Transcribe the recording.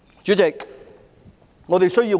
主席，我們需要甚麼？